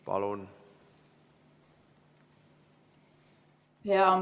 Palun!